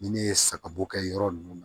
Ni ne ye sagabo kɛ yɔrɔ nunnu na